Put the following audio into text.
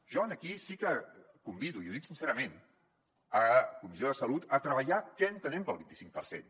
jo aquí sí que convido i ho dic sincerament la comissió de salut a treballar què entenem pel vint i cinc per cent